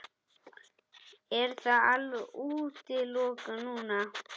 Er það alveg útilokað núna?